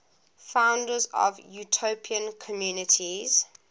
founders of utopian communities